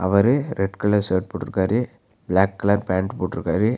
அவரு red colour shirt போட்ருக்காரு black colour pant போட்ருக்காரு.